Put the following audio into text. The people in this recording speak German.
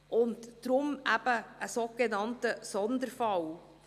Es ist deshalb ein sogenannter Sonderfall.